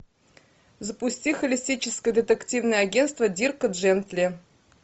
запусти холистическое детективное агентство дирка джентли